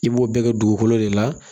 I b'o bɛɛ kɛ dugukolo de la